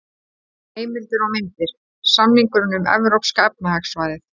Heimildir og myndir: Samningurinn um Evrópska efnahagssvæðið.